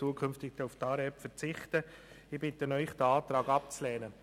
Ich bitte Sie, diesen Antrag abzulehnen.